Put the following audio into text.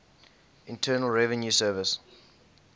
internal revenue service